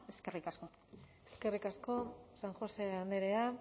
eskerrik asko eskerrik asko san josé andrea